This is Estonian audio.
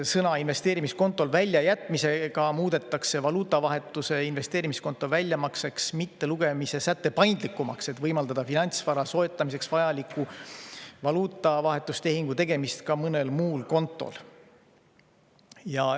Sõna "investeerimiskontol" väljajätmisega muudetakse valuutavahetuse investeerimiskonto väljamakseks mittelugemise säte paindlikumaks, et võimaldada finantsvara soetamiseks vajaliku valuutavahetustehingu tegemist ka mõnel muul kontol.